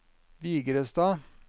Vigrestad